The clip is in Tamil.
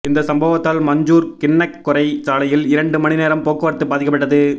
இந்த சம்பவத்தால் மஞ்சூர் கிண்ணக்கொரை சாலையில் இரண்டு மணிநேரம் போக்குவரத்து பாதிக்கப்பட்டது